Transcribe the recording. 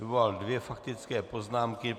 Vyvolal dvě faktické poznámky.